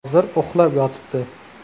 Hozir uxlab yotibdi’.